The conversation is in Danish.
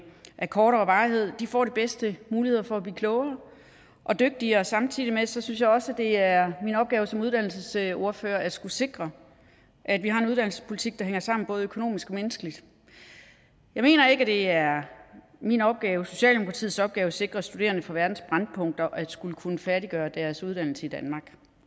af kortere varighed får de bedste muligheder for at blive klogere og dygtigere samtidig synes jeg også at det er min opgave som uddannelsesordfører at skulle sikre at vi har en uddannelsespolitik der hænger sammen både økonomisk og menneskeligt jeg mener ikke at det er min opgave eller socialdemokratiets opgave at sikre studerende fra verdens brændpunkter at skulle kunne færdiggøre deres uddannelse i danmark